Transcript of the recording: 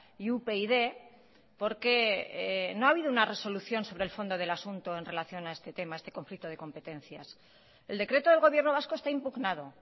y upyd porque no ha habido una resolución sobre el fondo del asunto en relación a este tema a este conflicto de competencias el decreto del gobierno vasco está impugnado